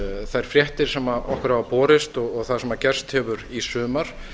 þær fréttir sem okkur hafa borist og það sem gerst hefur í sumar